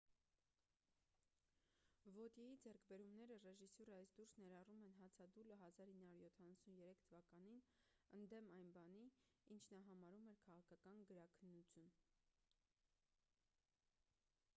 վոտյեի ձեռքբերումները ռեժիսյուրայից դուրս ներառում են հացադուլը 1973 թվականին ընդդեմ այն բանի ինչ նա համարում էր քաղաքական գրաքննություն